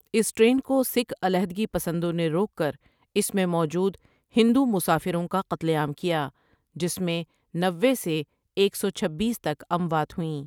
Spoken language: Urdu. اس ٹرین کو سکھ علاحدگی پسندوں نے روک کر اس میں موجود ہندو مسافروں کا قتل عام کیا جس میں نوے سے ایک سو چھبیس تک اموات ہوئیں ۔